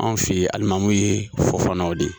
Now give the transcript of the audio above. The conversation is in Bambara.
Anw fe yen alimamiw ye fofanaw de ye.